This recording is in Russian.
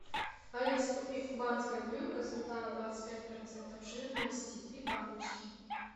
алиса купи кубанская буренка сметана двадцать пять процентов жирности три баночки